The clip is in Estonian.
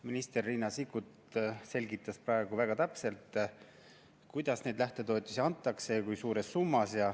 Minister Riina Sikkut selgitas praegu väga täpselt, kuidas neid lähtetoetusi antakse ja kui suures summas.